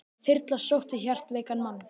Þyrla sótti hjartveikan mann